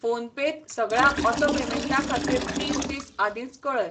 PhonePe त सगळ्या auto पेमेंटां खातीर तीन दीस आदींच कऴय.